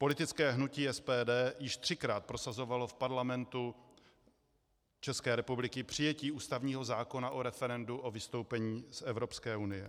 Politické hnutí SPD již třikrát prosazovalo v Parlamentu České republiky přijetí ústavního zákona o referendu o vystoupení z Evropské unie.